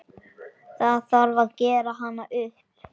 Það þarf gera hana upp.